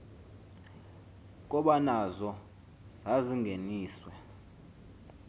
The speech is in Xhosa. koba nazo zazingeniswe